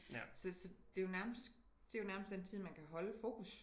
Så så det jo nærmest det jo nærmest den tid man kan holde fokus